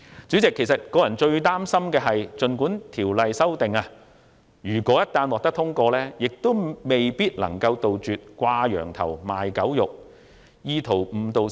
主席，我個人最擔心會出現的一個情況，就是即使《條例草案》獲得通過，亦未必能杜絕"掛羊頭賣狗肉"的情況。